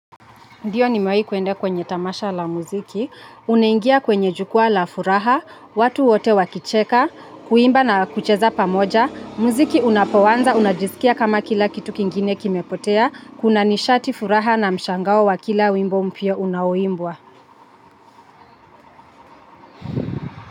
Ndiyo nimewahi kuende kwenye tamasha la muziki, unaingia kwenye jukwaa la furaha, watu wote wakicheka, kuimba na kucheza pamoja, muziki unapoanza, unajisikia kama kila kitu kingine kimepotea, kuna nishati furaha na mshangao wa kila wimbo mpya unaoimbwa.